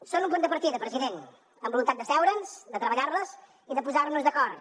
són un punt de partida president amb voluntat d’asseure’ns de treballar les i de posar nos d’acord